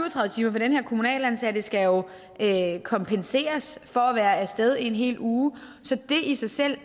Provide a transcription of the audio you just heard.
og den her kommunalt ansatte skal jo kompenseres for at være af sted i en hel uge så det i sig selv